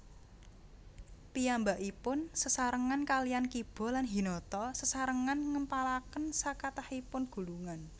Piyambakipun sesarengan kaliyan Kiba lan Hinata Sesarengan ngempalaken sakathahipun gulungan